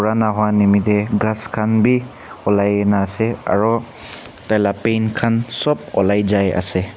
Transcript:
purana hoa nimite ghass khan bi ulai ne ase aru tai la paint khan sop ulai jai ase.